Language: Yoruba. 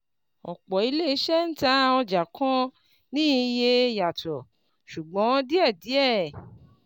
Ọ̀pọ̀ ilé iṣẹ́ ń tà ọjà kan ní iye yàtò, ṣùgbọ́n díẹ̀díẹ̀.